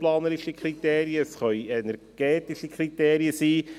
Es können raumplanerische Kriterien, es können energetische Kriterien sein.